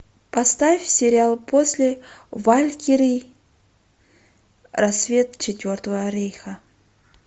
поставь сериал после валькирии рассвет четвертого рейха